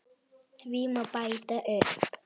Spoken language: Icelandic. Því má bæta upp